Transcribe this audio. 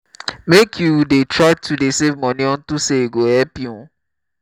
make you try to dey save money unto say e go help you